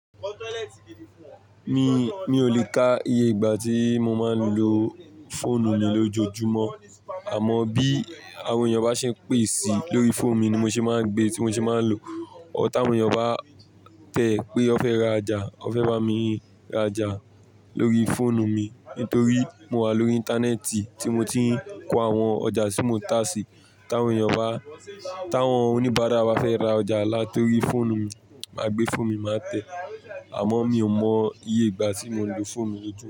Mi, mi ò lè ka iye ìgbà tí mo máa ń lo fóònù mi lójoojúmọ́. Àmọ́ bí àwọn èyàn bá ṣe pèsè lórí fóònù mi ni mo ṣe máa ń gbe, tí mo ṣe máa ń lo. But táwọn èyàn bá tẹ́ pé ọ fẹ́ ra'jà, ọ fẹ́ bá mi ra'jà lórí fóònù mi nítorí mo wà lórí íńtánẹ́ẹ̀tì tí mo ti ń kó àwọn ọjà tí mo tà sí. Táwọn èyàn bá, táwọn oníbàárà bá fẹ́ ra ọjà látọrí fóònù mi, màá gbé fóònù mi, màá tẹ̀. Àmọ́ mi ò mọ iye ìgbà tí mo ń lo fóònù mi lójúmọ́.